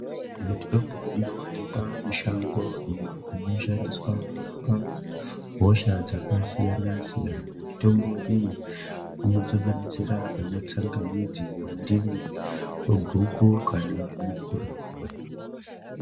Mitombo inowanikwa mushango iyo inoshandiswa kurapa hosha dzakasiyanasiyana mitombo iyi inosanganisira anatsangamidzi ,mandimu, guku kana mikiraurwa.